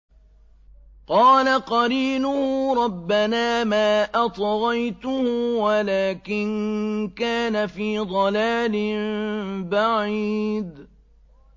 ۞ قَالَ قَرِينُهُ رَبَّنَا مَا أَطْغَيْتُهُ وَلَٰكِن كَانَ فِي ضَلَالٍ بَعِيدٍ